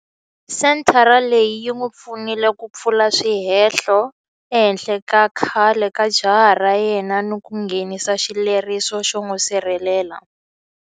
Senthara leyi yi n'wi pfunile ku pfula swihehlo ehenhla ka khale ka jaha ra yena ni ku nghenisa xileriso xo n'wi sirhelela.